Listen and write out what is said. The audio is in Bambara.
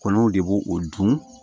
Kɔnɔw de b'o o dun